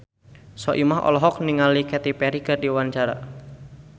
Soimah olohok ningali Katy Perry keur diwawancara